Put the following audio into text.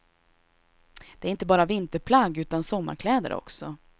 Det är inte bara vinterplagg utan sommarkläder också.